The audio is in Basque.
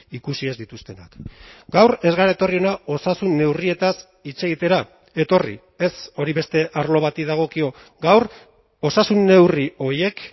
ikusi ez dituztenak gaur ez gara etorri hona osasun neurrietaz hitz egitera etorri ez hori beste arlo bati dagokio gaur osasun neurri horiek